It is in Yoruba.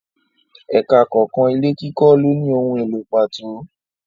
Ẹka kọ̀ọ̀kan ilé kíkọ lóni ohun èlò pàtó.